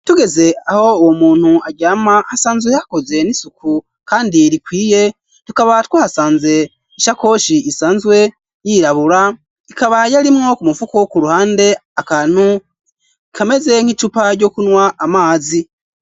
Tugeze aho uwo muntu aryama hasanzwe hakoze n'isuku kandi rikwiye tukaba twahasanze ishakoshi isanzwe yirabura ikaba yalimwo kumufuka ku ruhande akantu ikameze nk'icupa ryo kunwa amazi.